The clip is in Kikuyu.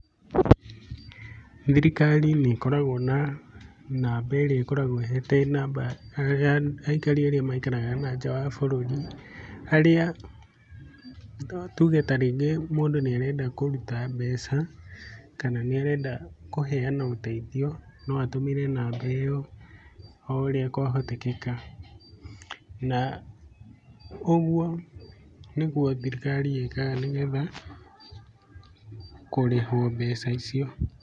Thirikari nĩĩkoragwo na namba ĩrĩa ĩkoragwo ĩhete aikari arĩa maikaraga nanja wa bũrũri arĩa tuge tarĩngĩ mũndũ nĩarenda kũruta mbeca kana nĩarenda kũheana ũteithio noatũmĩre namba ĩo o ũrĩa kwahotekeka na ũguo nĩguo thirikari ĩkaga nĩgetha kũrĩhwo mbeca icio.